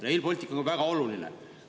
Rail Baltic on ka väga oluline.